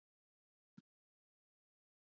Það eru járn í eldinum.